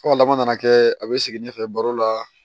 Aw ka laban nana kɛ a bɛ segin ne fɛ baro la